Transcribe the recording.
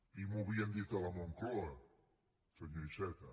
i m’ho havien dit a la moncloa senyor iceta